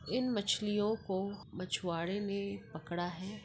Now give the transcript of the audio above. इन मछलियों को मछुआड़े ने पकड़ा है।